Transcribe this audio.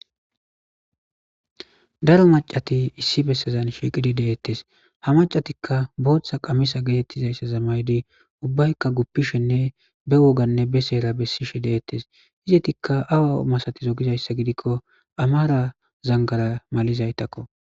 Daro mac'ati issi besazan shiqidi de'etes ha mac'atika botha qamise getetizaysaza ma'idi ubayika gupishene be wogane be sera besishe de'etes izetika awa masatizo gizaysa gidiko amara xanxara malizaytako.